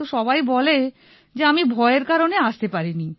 তো সবাই বলে যে আমি ভয়ের কারণে আসতে পারিনি